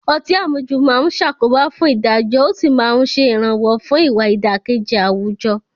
Ọtí àmujù máa ń ṣàkóbá fún ìdájọ́ ó sì ń ṣe ìrànwọ́ fún ìwà ìdàkejì àwùjọ